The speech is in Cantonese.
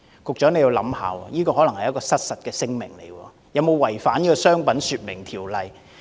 局長，你要想想，這可能是失實聲明，不知有否違反《商品說明條例》。